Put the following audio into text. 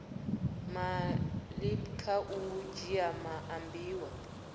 malepeng kha u dzhia maambiwa